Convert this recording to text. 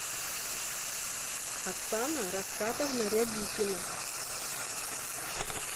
оксана равкатовна рябикина